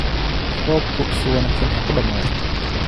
Roobku si wanaagsan ha ku dhammaado